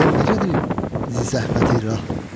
Halın necədir zi-zəhməti-rah?